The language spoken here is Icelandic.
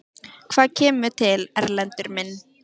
Og hvað kemur til, Erlendur minn?